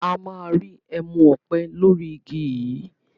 A má rí ẹmu òpè lórí igi yí.